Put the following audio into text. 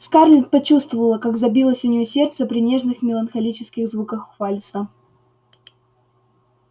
скарлетт почувствовала как забилось у неё сердце при нежных меланхолических звуках вальса